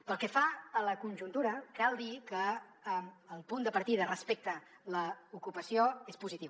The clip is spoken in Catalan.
pel que fa a la conjuntura cal dir que el punt de partida respecte a l’ocupació és positiu